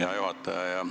Hea juhataja!